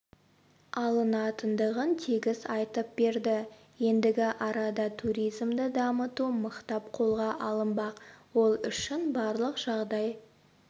алынатындығын тегіс айтып берді ендігі арада туризмді дамыту мықтап қолға алынбақ ол үшін барлық жағдай